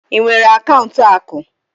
Ị nwere akaụntụ akụ?